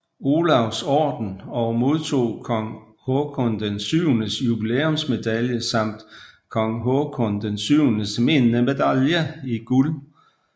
Olavs Orden og modtog Kong Haakon VIIs jubilæumsmedalje samt Kong Haakon VIIs minnemedalje i guld